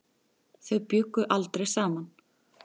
Þau bjuggu aldrei saman.